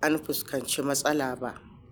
an fuskanci matsala ba.